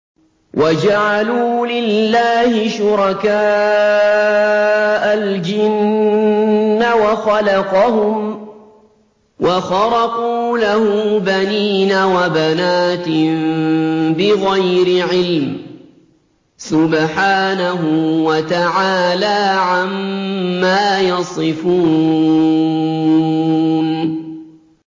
وَجَعَلُوا لِلَّهِ شُرَكَاءَ الْجِنَّ وَخَلَقَهُمْ ۖ وَخَرَقُوا لَهُ بَنِينَ وَبَنَاتٍ بِغَيْرِ عِلْمٍ ۚ سُبْحَانَهُ وَتَعَالَىٰ عَمَّا يَصِفُونَ